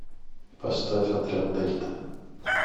поставь отряд дельта